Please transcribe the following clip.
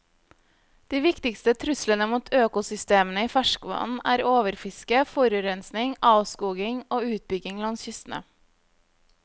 De viktigste truslene mot økosystemene i ferskvann er overfiske, forurensning, avskoging og utbygging langs kystene.